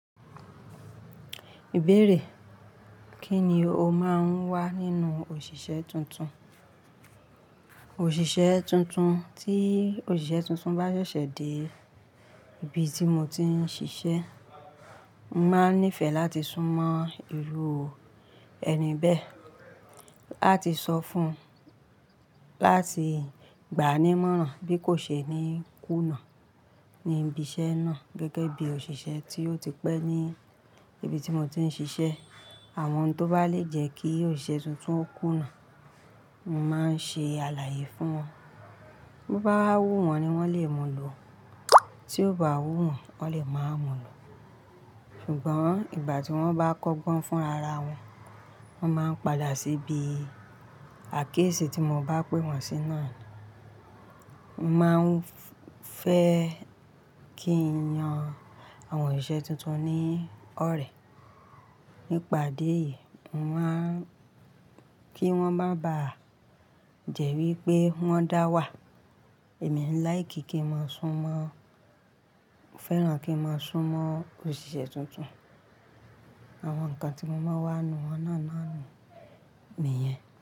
Ìbéèrè, kí ni o máa ń wá nínú òṣìṣẹ́ tuntun? Òṣìṣẹ́ tuntun, tí òṣìṣẹ́ tuntun bá ṣẹ̀ṣẹ̀ dé ibi tí mo ti ń ṣiṣẹ́, mo máa nífẹ̀ẹ́ láti súnmọ́ irú ẹni bẹ́ẹ̀, A ti sọ fún láti gbáa ní mọ́rán bí kò ṣe ni kúna ní ibi iṣẹ́ náà gẹ́gẹ́ bí òṣìṣẹ́ tí ó ti pẹ́ ní ibi tí mo ti ń ṣiṣẹ́. Àwọn tó bá lè jẹ́ kí òṣìṣẹ́ tuntun ó kúna, mo máa ń ṣe àlàyé fún wọn. Bí ó bá wú wọ́n ni wọ́n lè mú lọ, tí ó bá ò wú wọ́n, wọ́n lè máa mú lọ. Ṣùgbọ́n ìgbà tí wọ́n bá kọ́gbọ́n fúnra ara wọn, wọ́n máa ń padà síbi àkiyésì tí mo bá pé wọ́n sí náà ni. Mo máa ń fẹ́ kí n yan àwọn òṣìṣẹ́ tuntun ní ọ̀rẹ́. Nípa idi éyìí, mo máa ń kí wọ́n mo bá jẹ̀rí pé wọ́n dá wà. Èmi ń láì kí kí n máa sún mọ́, mo fẹ́ràn kí n máa súnmọ́ òṣìṣẹ́ tuntun. Àwọn nǹkan tí mo máa ń wá nu won náà náà nu niyẹn.